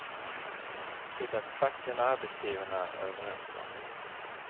Det är facken och arbetsgivarna överens om.